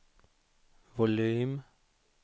volym